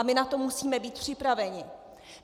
A my na to musíme být připraveni.